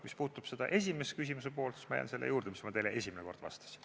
Mis puudutab küsimuse esimese poolt, siis ma jään selle juurde, mis ma teile esimene kord vastasin.